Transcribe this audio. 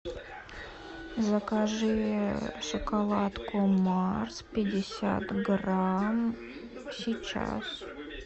закажи шоколадку марс пятьдесят грамм сейчас